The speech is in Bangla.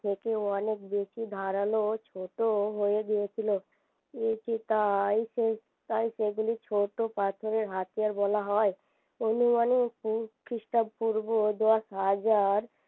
থেকেও অনেক বেশি ধারালো ছোটও হয়ে গিয়েছিলো তাই সেগুলি ছোট পাথরের হাতিয়ার বলা হয় অনুমানিক খ্রিষ্টাপূর্ব দশ হাজার